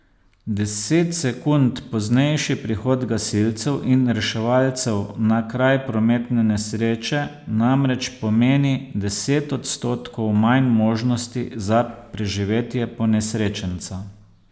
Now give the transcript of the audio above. Deset sekund poznejši prihod gasilcev in reševalcev na kraj prometne nesreče namreč pomeni deset odstotkov manj možnosti za preživetje ponesrečenca.